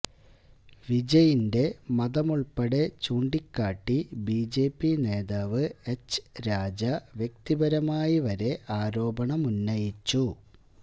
വിജയിന്റെ മതമുള്പ്പടെ ചൂണ്ടിക്കാട്ടി ബിജെപി നേതാവ് എച്ച് രാജ വ്യക്തിപരമായി വരെ ആരോപണമുന്നയിച്ചു